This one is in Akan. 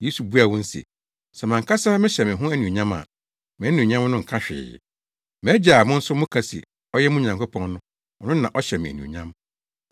Yesu buaa wɔn se, “Sɛ mʼankasa mehyɛ me ho anuonyam a, mʼanuonyam no nka hwee. MʼAgya a mo nso moka se ɔyɛ mo Nyankopɔn no, ɔno na ɔhyɛ me anuonyam.